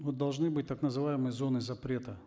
вот должны быть так называемые зоны запрета